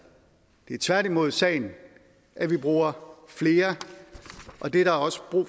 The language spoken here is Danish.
det er tværtimod sagen at vi bruger flere og det er der også brug